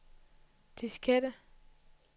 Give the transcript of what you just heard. diskette